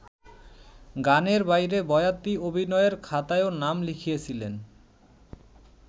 গানের বাইরে বয়াতি অভিনয়ের খাতায়ও নাম লিখিয়েছিলেন।